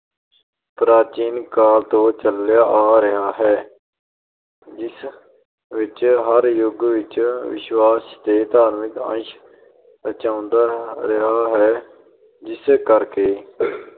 ਪ੍ਰਾਚੀਨ ਕਾਲ ਤੋਂ ਚਲਿਆ ਆ ਰਿਹਾ ਹੈ ਜਿਸ ਵਿੱਚ ਹਰ ਯੁਗ ਕਈ ਵਿਸ਼ਵਾਸ ਤੇ ਧਾਰਮਿਕ ਅੰਸ਼ ਰਚਾਂਦਾ ਰਿਹਾ ਹੈ, ਜਿਸ ਕਰਕੇ